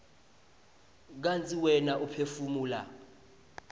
kantsi wena uphefumula